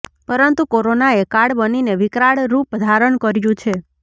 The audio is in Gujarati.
પરંતુ કોરોનાએ કાળ બનીને વિકરાળ રૂપ ધારણ કર્યું છે